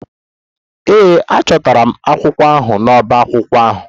Ee, achọtara m akwụkwọ ahụ n'ọbá akwụkwọ ahụ.